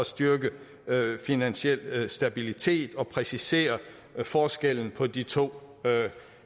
styrke finansiel stabilitet og præcisere forskellen på de to